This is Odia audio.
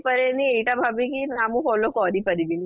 ପାରେନି ଏଇଟା ଭାବିକି ନା ମୁଁ follow କରି ପାରିବିନି